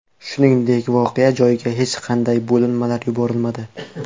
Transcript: Shuningdek, voqea joyiga hech qanday bo‘linmalar yuborilmadi.